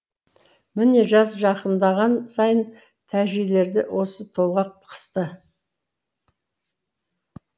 міне жаз жақындаған сайын тәжилерді осы толғақ қысты